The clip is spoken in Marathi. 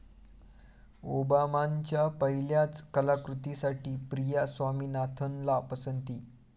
ओबामांच्या पहिल्याच कलाकृतीसाठी प्रिया स्वामीनाथनला पसंती